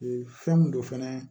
fɛn mun don fɛnɛ